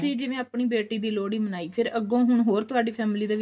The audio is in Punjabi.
ਜਿਵੇਂ ਆਪਣੀ ਬੇਟੀ ਦੀ ਲੋਹੜੀ ਮਨਾਈ ਹੁਣ ਅੱਗੋਂ ਹੋਰ ਹੁਣ ਤੁਹਾਡੀ family ਦੇ ਵਿੱਚ